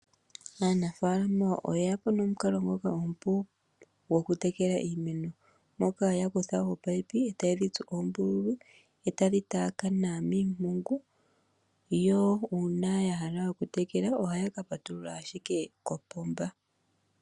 Aanafalama oyeya po nomukalo ngoka omupu gokutekela iimeno taya kutha opaipi ee tayedhi tsu oombululu ee tadhi taakana miimpungu nuuna yahala okutekela ohaya ka patulula owala kopomba.